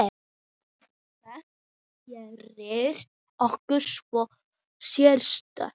Hvað gerir okkur svona sérstök?